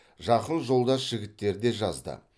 жақын жолдас жігіттер де жазды